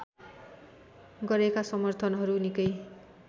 गरेका समर्थनहरू निकै